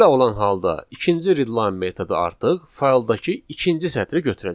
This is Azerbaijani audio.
Belə olan halda ikinci readline metodu artıq fayldakı ikinci sətri götürəcək.